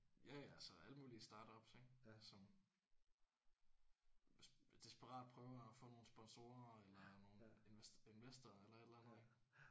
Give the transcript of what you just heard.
Ja ja altså alle mulige startups ik som desperat prøver at få nogle sponsorer eller nogle investorer eller et eller andet ik